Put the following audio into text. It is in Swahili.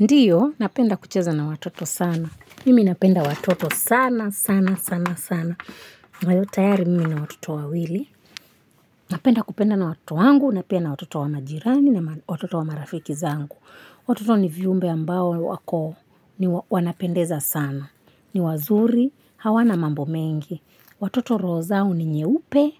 Ndiyo, napenda kucheza na watoto sana. Mimi napenda watoto sana, sana, sana, sana. Nayo tayari mimi nina watoto wawili. Napenda kupenda na watoto wangu, na pia na watoto wa majirani, na watoto wa marafiki zangu. Watoto ni viumbe ambao wako, ni wanapendeza sana. Ni wazuri, hawana mambo mengi. Watoto roho zao ni nyeupe,